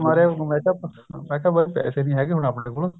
ਮੈ ਕਿਆ ਬੱਸ ਪੈਸੇ ਨਹੀਂ ਹੈਗੇ ਆਪਣੇ ਕੋਲ